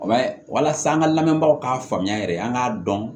walasa an ka lamɛnbagaw k'a faamuya yɛrɛ an k'a dɔn